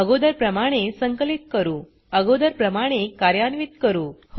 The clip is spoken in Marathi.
अगोदर प्रमाणे संकलित करूअगोदर प्रमाणे कार्यान्वीत करू